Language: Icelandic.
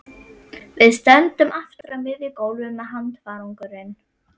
Við stöndum aftur á miðju gólfi með handfarangur.